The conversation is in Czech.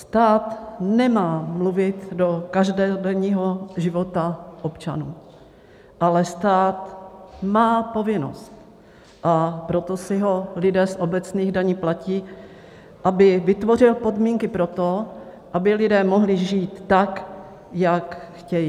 Stát nemá mluvit do každodenního života občanů, ale stát má povinnost, a proto si ho lidé z obecních daní platí, aby vytvořil podmínky pro to, aby lidé mohli žít tak, jak chtějí.